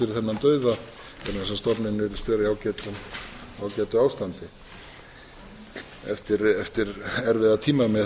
fyrir þennan dauða vegna þess að stofninn virðist vera í ágætu ástandi eftir erfiða tíma með